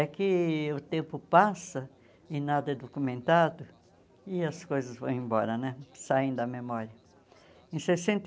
É que o tempo passa e nada é documentado e as coisas vão embora né, saem da memória. Em sessenta